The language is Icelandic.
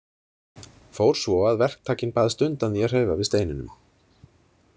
Fór svo að verktakinn baðst undan því að hreyfa við steininum.